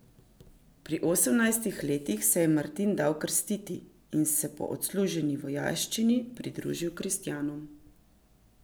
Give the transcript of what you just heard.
Pri osemnajstih letih se je Martin dal krstiti in se po odsluženi vojaščini pridružil kristjanom.